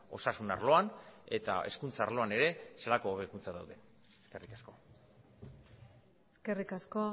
osasun arloan eta hezkuntza arloan ere zelako hobekuntzak dauden eskerrik asko eskerrik asko